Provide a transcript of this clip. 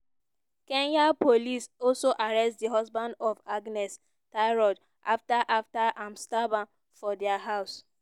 kenyan police also arrest di husband of agnes tirop afta afta im stab her for dia house.